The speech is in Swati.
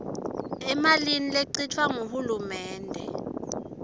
emalini lechitfwa nguhulumende